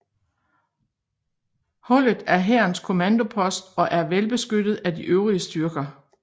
Hullet er hærens kommandopost og er velbeskyttet af de øvrige styrker